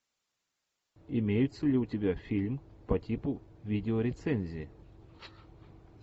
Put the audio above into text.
имеется ли у тебя фильм по типу видеорецензии